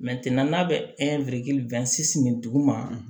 n'a bɛ nin dugu ma